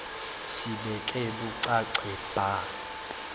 sibeke bucace bha